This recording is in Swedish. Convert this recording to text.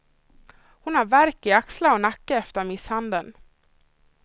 Hon har värk i axlar och nacke efter misshandeln.